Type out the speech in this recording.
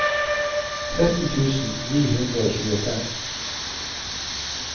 tretten tusen ni hundre og tjuefem